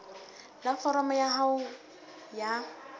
la foromo ya hao ya